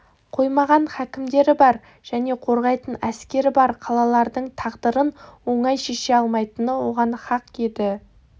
қоймаған хакімдері бар және қорғайтын әскері бар қалалардың тағдырын оңай шеше алмайтыны оған хақ еді